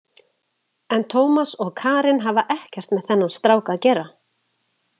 En Tómas og Karen hafa ekkert með þennan strák að gera.